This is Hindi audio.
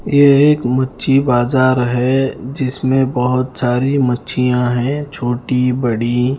ये एक मच्छी बाज़ार हैं जिसमें बहुत सारी मच्छियाँ है छोटी-बड़ी ।